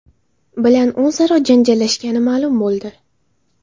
bilan o‘zaro janjallashgani ma’lum bo‘ldi.